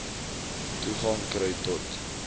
toegang kry tot